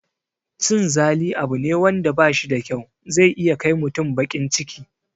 Cin zali abu ne wanda bashi da kyau, zai iya kai mutum baƙin ciki